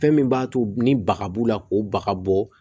Fɛn min b'a to ni baga b'u la k'u bagabɔ